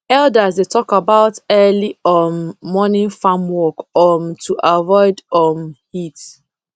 elders dey talk about early um morning farm work um to avoid um heat